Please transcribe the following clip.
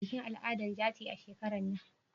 za a yi bikin al'ada na jaci shekaran nan?